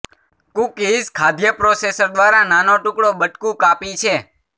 cookies ખાદ્ય processor દ્વારા નાનો ટુકડો બટકું કાપી છે